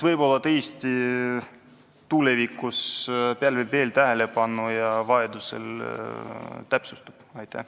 Võib-olla see tulevikus pälvib veel tähelepanu ja vajadusel leiab täpsustamist.